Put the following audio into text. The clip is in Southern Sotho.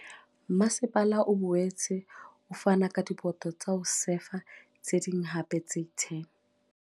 Masepala o boetse o fane ka diboto tsa ho sefa tse ding hape tse 10 ho